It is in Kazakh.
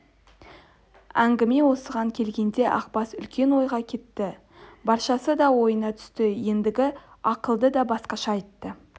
әңгіме осыған келгенде ақбас үлкен ойға кетті баршасы да ойына түсті ендігі ақылды да басқаша айтты